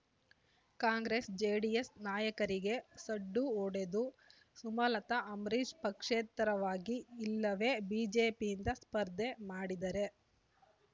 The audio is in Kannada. ಕಾಂಗ್ರೆಸ್ ಜೆಡಿಎಸ್ ನಾಯಕರಿಗೆ ಸಡ್ಡು ಹೊಡೆದು ಸುಮಲತ ಅಂಬರೀಶ್ ಪಕ್ಷೇತರವಾಗಿ ಇಲ್ಲವೇ ಬಿಜೆಪಿಯಿಂದ ಸ್ಪರ್ಧೆ ಮಾಡಿದರೆ